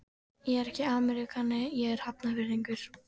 Ég er ekki ameríkani, ég er Hafnfirðingur.